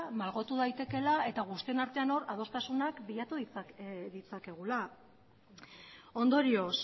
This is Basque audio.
malgotu daitekeela eta guztion artean hor adostasuna bilatu ditzakegula ondorioz